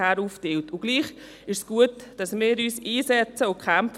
Gleichwohl ist es gut, dass wir uns für diese RadWM 2024 einsetzen und kämpfen.